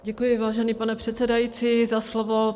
Děkuji, vážený pane předsedající, za slovo.